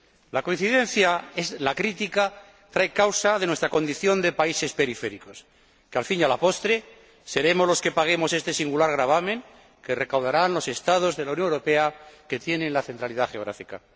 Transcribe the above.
La coincidencia en la crítica trae causa de nuestra condición de países periféricos, que, al fin y a la postre, seremos los que paguemos este singular gravamen que recaudarán los Estados de la Unión Europea que tienen la centralidad geográfica.